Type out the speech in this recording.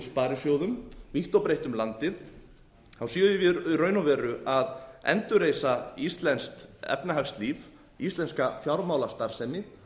sparisjóðum vítt og breitt um landið séum við í raun og veru að endurreisa íslenskt efnahagslíf íslenska fjármálastarfsemi